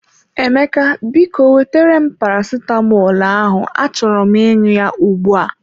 Emeka, biko wetere m paracetamolu ahụ achọrọ m ịṅụ ya ugbu a.